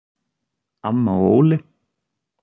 Amma og Óli.